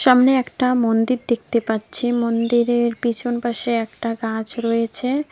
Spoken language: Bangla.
সামনে একটা মন্দির দেখতে পাচ্ছি মন্দিরের পিছন পাশে একটা গাছ রয়েছে।